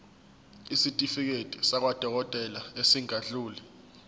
isitifiketi sakwadokodela esingadluli